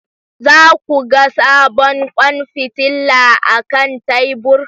Za ku ga sabon kwan fitila akan tebur